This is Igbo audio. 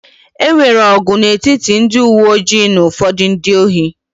E nwere ọgụ n'etiti ndị uwe ojii na ụfọdụ ndị ohi